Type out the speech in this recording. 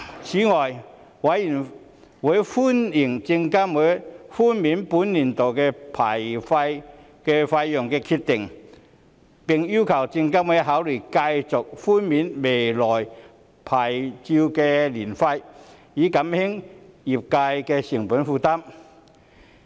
此外，委員歡迎證監會寬免本年度的牌照年費的決定，並要求證監會考慮繼續寬免來年的牌照年費，以減輕證券業界的成本負擔。